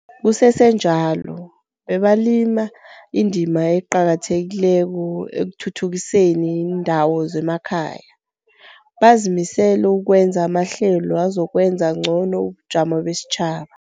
Kusesenjalo, bebalima indima eqakathekileko ekuthuthukiseni iindawo zemakhaya, bazimisele ukwenza amahlelo azokwenza ngcono ubujamo besitjhaba.